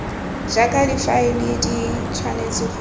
jaaka difaele di tshwanetse go